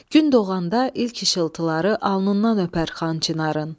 Gün doğanda ilk işıltıları alnından öpər Xan Çinarın.